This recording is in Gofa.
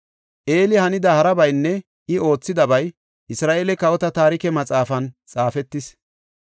Eli hanida harabaynne I oothidabay Isra7eele Kawota Taarike Maxaafan xaafetis.